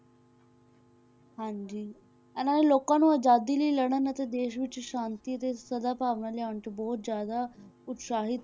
ਹਾਂਜੀ ਇਹਨਾਂ ਨੇ ਲੋਕਾਂ ਨੂੰ ਆਜ਼ਾਦੀ ਲਈ ਲੜਨ ਅਤੇ ਦੇਸ ਵਿੱਚ ਸ਼ਾਂਤੀ ਤੇ ਸਦਾਭਾਵਨਾ ਲਿਆਉਣ 'ਚ ਬਹੁਤ ਜ਼ਿਆਦਾ ਉਤਸ਼ਾਹਿਤ